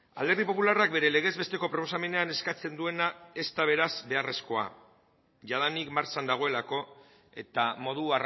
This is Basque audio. alderdi popularrak bere legez besteko proposamenean eskatzen duena ez da beraz beharrezkoa jadanik martxan dagoelako eta modu